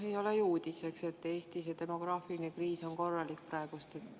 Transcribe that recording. Ei ole ju uudis, et Eestis on praegu korralik demograafiline kriis.